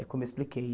É como eu expliquei.